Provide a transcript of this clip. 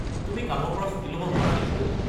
তুমি কামৰ পৰা ছুটী লব নোৱাৰা নেকি?